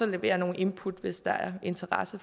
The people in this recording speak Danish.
levere nogle input hvis der er interesse